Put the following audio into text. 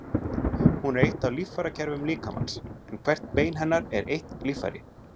Hún er eitt af líffærakerfum líkamans, en hvert bein hennar er eitt líffæri.